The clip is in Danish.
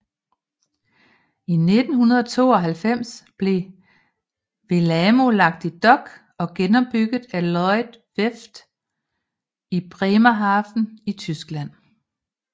I 1992 blev Wellamo lagt i dok og genopbygget af Lloyds Werft i Bremerhaven i Tyskland